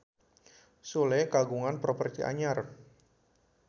Sule kagungan properti anyar